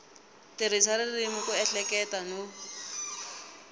tirhisa ririmi ku ehleketa no